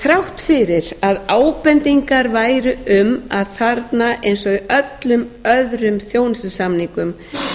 þrátt fyrir að ábendingar væru um að þarna eins og í öllum öðrum þjónustusamningum